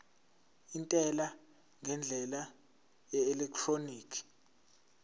intela ngendlela yeelektroniki